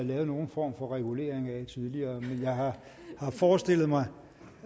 lavet nogen form for regulering af tidligere men jeg har forestillet mig